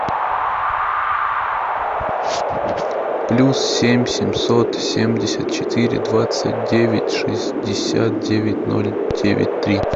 плюс семь семьсот семьдесят четыре двадцать девять шестьдесят девять ноль девять три